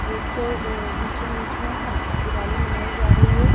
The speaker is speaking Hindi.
गेट के बीच बीच में दिवाली मनाई जा रही है।